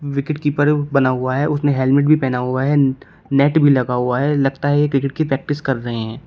Wicket keeper बना हुआ है उसने हेलमेट भी पेहना हुआ है नेट भी लगा हुआ है लगता है ये क्रिकेट की प्रैक्टिस कर रहे हैं।